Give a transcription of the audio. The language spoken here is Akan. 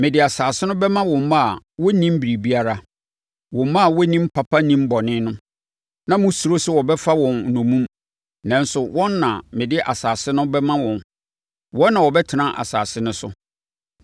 Mede asase no bɛma wo mma a wɔnnim biribiara. Wo mma a wɔnnim papa nnim bɔne no. Na mosuro sɛ wɔbɛfa wɔn nnommum, nanso wɔn na mede asase no bɛma wɔn. Wɔn na wɔbɛtena asase no so.